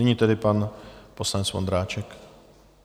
Nyní tedy pan poslanec Vondráček.